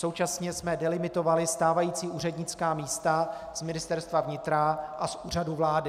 Současně jsme delimitovali stávající úřednická místa z Ministerstva vnitra a z Úřadu vlády.